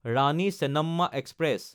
Rani Chennamma express